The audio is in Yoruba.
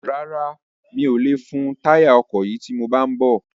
Rárá, mi ò lè fun táyà ọkọ̀ yìí tí mo bá ń bọ̀